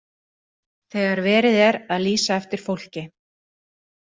Þegar verið er að lýsa eftir fólki.